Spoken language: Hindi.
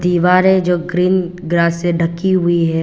दीवारें जो ग्रीन ग्रास से ढकी हुई है।